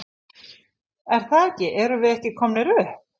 Er það ekki erum við ekki komnir upp?